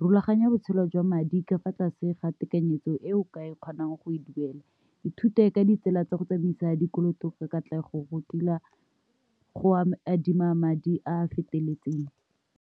Rulaganya botshelo jwa madi ka fa tlase ga tekanyetsong e o ka e kgonang go e duela. Ithute ka ditsela tsa go tsamaisa dikoloto ka katlego go go adima madi a a feteletseng.